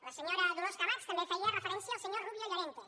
la senyora dolors camats també feia referència al senyor rubio llorente